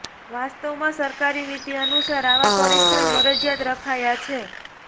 વાસ્તવમાં સરકારી નીતિ અનુસાર આવાં પરીક્ષણ મરજિયાત રખાયાં છે